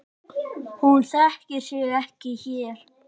Hún þekkir sig ekki hér.